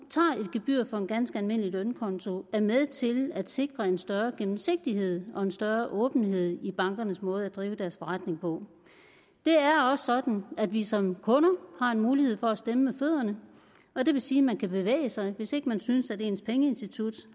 gebyr for en ganske almindelig lønkonto er med til at sikre en større gennemsigtighed og en større åbenhed i bankernes måde at drive deres forretning på det er også sådan at vi som kunder har en mulighed for at stemme med fødderne og det vil sige man kan bevæge sig hvis ikke man synes at ens pengeinstitut